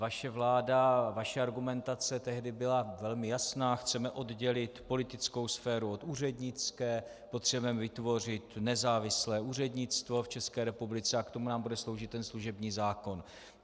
Vaše vláda, vaše argumentace tehdy byla velmi jasná: Chceme oddělit politickou sféru od úřednické, potřebujeme vytvořit nezávislé úřednictvo v České republice a k tomu nám bude sloužit ten služební zákon.